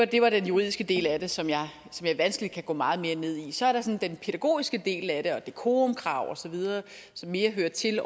det var den juridiske del af det som jeg vanskeligt kan gå meget mere ned i så er der den sådan pædagogiske del af det dekorumkrav osv som mere hører til